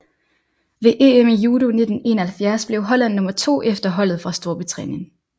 Ved EM i judo 1971 blev holland nummer to efter holdet fra Storbritannien